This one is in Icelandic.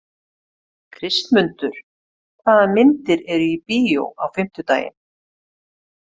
Kristmundur, hvaða myndir eru í bíó á fimmtudaginn?